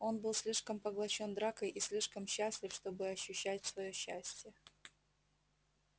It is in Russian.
он был слишком поглощён дракой и слишком счастлив чтобы ощущать своё счастье